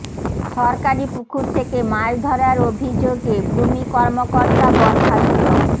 সরকারি পুকুর থেকে মাছ ধরার অভিযোগে ভূমি কর্মকর্তা বরখাস্ত